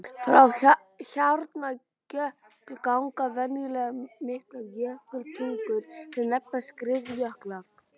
Frá hjarnjöklum ganga venjulega miklar jökultungur sem nefnast skriðjöklar.